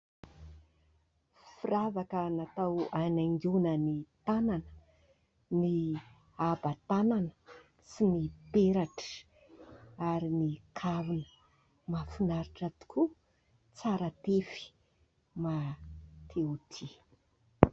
Firavaka natao hanaingoana ny tanana, ny haba-tanana sy ny peratra ary ny kavina, mahafinaritra tokoa, tsara tefy mahate ho tia !